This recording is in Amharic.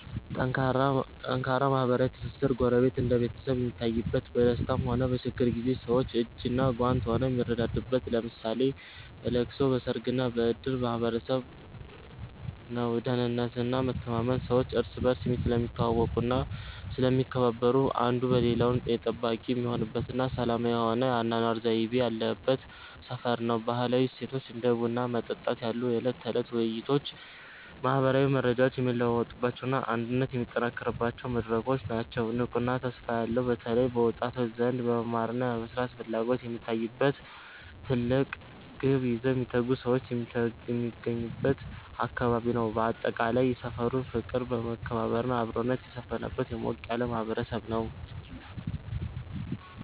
ጠንካራ ማህበራዊ ትስስር፦ ጎረቤት እንደ ቤተሰብ የሚታይበት፣ በደስታም ሆነ በችግር ጊዜ ሰዎች እጅና ጓንት ሆነው የሚረዳዱበት (ለምሳሌ በለቅሶ፣ በሰርግና በእድር) ማህበረሰብ ነው። ደህንነትና መተማመን፦ ሰዎች እርስ በርስ ስለሚተዋወቁና ስለሚከባበሩ፣ አንዱ የሌላው ጠባቂ የሚሆንበትና ሰላማዊ የሆነ የአኗኗር ዘይቤ ያለበት ሰፈር ነው። ባህላዊ እሴቶች፦ እንደ ቡና መጠጣት ያሉ የዕለት ተዕለት ውይይቶች ማህበራዊ መረጃዎች የሚለዋወጡባቸውና አንድነት የሚጠናከርባቸው መድረኮች ናቸው። ንቁና ተስፋ ያለው፦ በተለይ በወጣቶች ዘንድ የመማርና የመስራት ፍላጎት የሚታይበት፣ ትልቅ ግብ ይዘው የሚተጉ ሰዎች የሚገኙበት አካባቢ ነው። ባጠቃላይ፣ ሰፈሩ ፍቅር፣ መከባበርና አብሮነት የሰፈነበት ሞቅ ያለ ማህበረሰብ ነው።